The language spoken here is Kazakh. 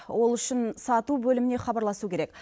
ол үшін сату бөліміне хабарласу керек